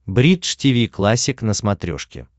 бридж тиви классик на смотрешке